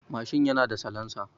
Mashin yana da salansa.